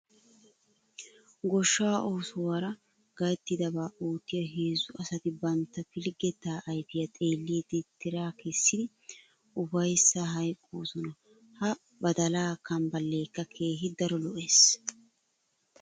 Goshshaa oosuwaraa gayttidabaa oottiya heezzu asati bantta pilggettaa ayfiyaa xeelliiddi tira kessidi ufayssaa hayqqoosona. Ha badalaa kambballeekka keehi daro lo'es.